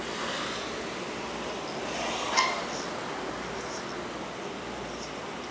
okubonakalayo akuchazi ekunikezeni